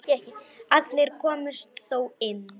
Allir komust þó inn.